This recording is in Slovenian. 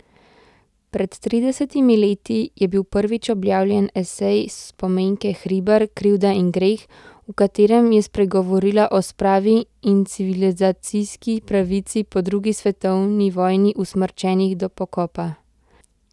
Pred tridesetimi leti je bil prvič objavljen esej Spomenke Hribar Krivda in greh, v katerem je spregovorila o spravi in civilizacijski pravici po drugi svetovni vojni usmrčenih do pokopa.